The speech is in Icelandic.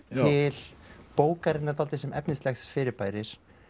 til bókarinnar dálítið sem efnislegs fyrirbæris